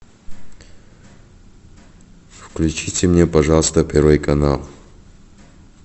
включите мне пожалуйста первый канал